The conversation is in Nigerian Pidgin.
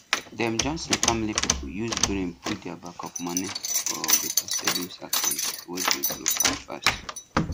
dem johnson family people use brain put their backup money for better savings account wey dey grow fast fast